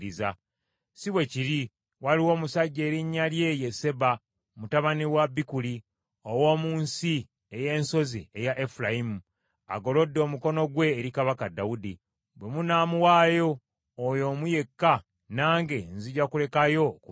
Si bwe kiri. Waliwo omusajja erinnya lye ye Seba, mutabani wa Bikuli, ow’omu nsi ey’ensozi eya Efulayimu, agolodde omukono gwe eri kabaka Dawudi. Bwe munaamuwaayo oyo omu yekka, nange nzija kulekayo okubalumba.”